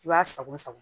I b'a sago sago